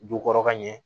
Du kɔrɔ ka ɲɛ